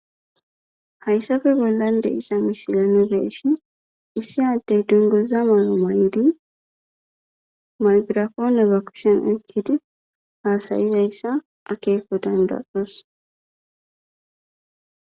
hayssafe bollan de'iza misila nu be'eshin issi addey dungoza man may7lidi maygirafoone ba kushen okkidi haasayizayssa akeeko dandayos